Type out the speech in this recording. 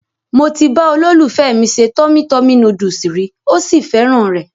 Mo ti bá olólùfẹ́ mi se Tummy Tummy Noodles rí,ó sì fẹ́ràn rẹ̀.